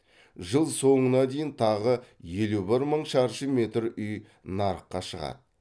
жыл соңына дейін тағы елу бір мың шаршы метр үй нарыққа шығады